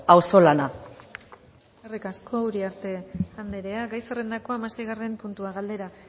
auzolana eskerrik asko uriarte andrea gai zerrendako hamaseigarren puntua galdera